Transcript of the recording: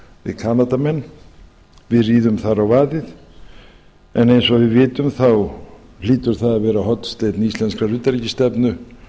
við kanadamenn við ríðum þar á vaðið en eins og við vitum þá hlýtur það að vera hornsteinn íslenskrar utanríkisstefnu